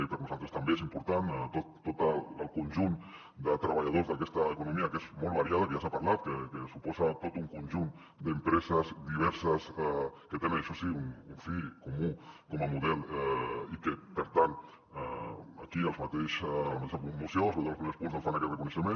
i per nosaltres també és important tot el conjunt de treballadors d’aquesta economia que és molt variada que ja s’ha parlat que suposa tot un conjunt d’empreses diverses que tenen això sí un fi comú com a model i que per tant aquí a la mateixa moció sobretot als primers punts doncs fan aquest reconeixement